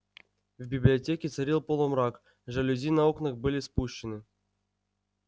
в библиотеке царил полумрак жалюзи на окнах были спущены